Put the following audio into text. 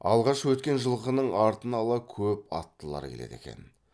алғаш өткен жылқының артын ала көп аттылар келеді екен